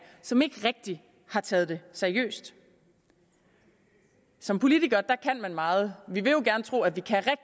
som ikke rigtig har taget det seriøst som politikere kan man meget vi vil jo gerne tro at vi kan